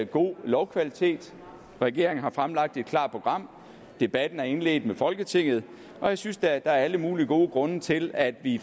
god lovkvalitet regeringen har fremlagt et klart program debatten er indledt med folketinget og jeg synes da at der er alle mulige gode grunde til at vi